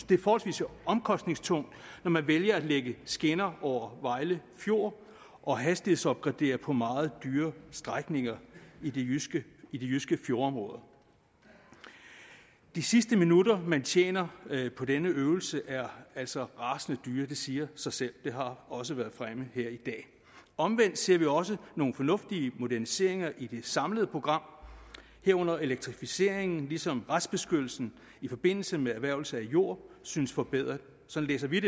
det er forholdsvis omkostningstungt når man vælger at lægge skinner over vejle fjord og hastighedsopgradere på meget dyre strækninger i de jyske jyske fjordområder de sidste minutter man tjener på denne øvelse er altså rasende dyre det siger sig selv og det har også været fremme her i dag omvendt ser vi også nogle fornuftige moderniseringer i det samlede program herunder elektrificeringen ligesom retsbeskyttelsen i forbindelse med erhvervelse af jord synes forbedret sådan læser vi